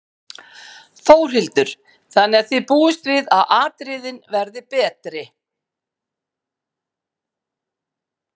Þórhildur: Þannig að þið búist við að atriðin verði betri?